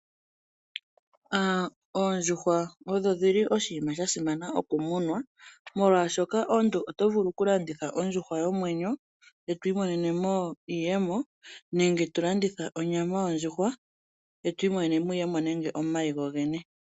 Oondjuhwa odho dhili oshinima sha simana okunumwa molwashoka omuntu oto vulu okulanditha ondjuhwa yina omwenyo eto imonene mo oshimaliwa nenge iiyemo nenge tolanditha onyama yonjdjuhw aeto imonene iiyemo nenge uuna to landitha omayi go gene.